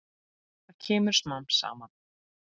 Það kemur smám saman.